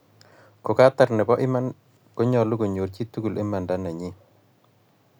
ko ngatar, nebo iman konyalu konyor chii tugul imanda nyii